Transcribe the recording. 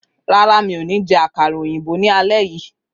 Rárá, mi ò ní jẹ àkàrà òyìnbó lálé yìí